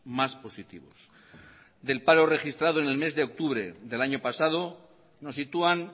más positivos del paro registrado en el mes de octubre del año pasado nos sitúan